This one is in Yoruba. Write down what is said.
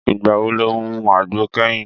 Ìgbà wo lo mu àgbo kẹ́yìn?